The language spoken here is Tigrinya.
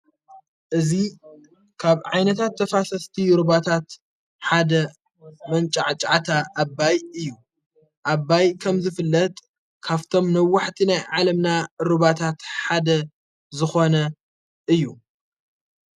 እዙ ካብ ዓይነታት ተፋሰስቲ ሩባታት ሓደ መንዕ ጫዓታ ኣባይ እዩ ኣባይ ከም ዘፍለጥ ካብቶም ነዋሕቲ ናይ ዓለምና ሩባታት ሓደ ዝኾነ እዩ።